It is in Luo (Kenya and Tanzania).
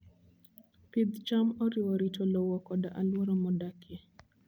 Pidh cham oriwo rito lowo koda alwora modakie.